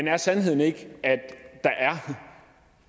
er sandheden ikke at der